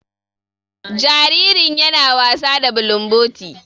Jaririn ya na wasa da bulumboti.